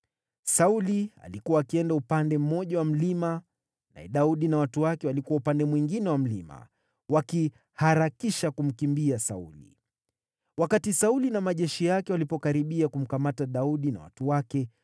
Sauli alikuwa akienda upande mmoja wa mlima, naye Daudi na watu wake walikuwa upande mwingine wa mlima, wakiharakisha kumkimbia Sauli. Wakati Sauli na majeshi yake walipokaribia kumkamata Daudi na watu wake,